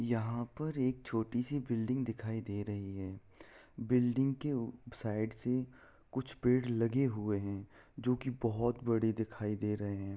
यहां पर एक छोटी-सी बिल्डिंग दिखाई दे रही है बिल्डिंग के ऊ साइड से कुछ पेड़ लगे हुए है जो की बहोत बड़े दिखाई दे रहे है।